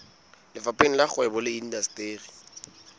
lefapheng la kgwebo le indasteri